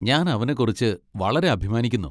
ഞാൻ അവനെക്കുറിച്ച് വളരെ അഭിമാനിക്കുന്നു.